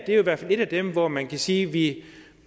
jo i hvert fald et af dem hvor man kan sige at vi